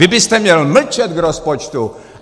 Vy byste měl mlčet k rozpočtu!